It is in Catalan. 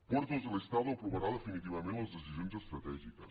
puertos del estado aprovarà definitivament les decisions estratègiques